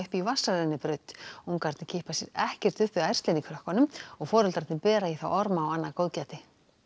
í vatnsrennibraut ungarnir kippa sér ekkert upp við ærslin í krökkunum og foreldrarnir bera í þá orma og annað góðgæti